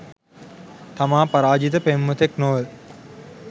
තමා පරාජිත පෙම්වතෙක් නොව